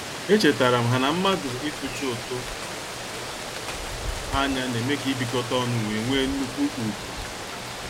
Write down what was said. Echetaram ha na mmadụ ị tuchi ụtụ anya na-eme ka ibikota ọnu wee nnukwu ugwu.